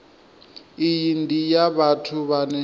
iyi ndi ya vhathu vhane